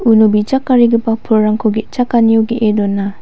uno bijakarigipa pulrangko ge·chakanio ge·e dona.